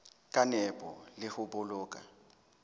ka nepo le ho boloka